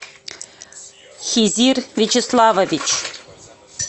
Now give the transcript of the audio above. хизир вячеславович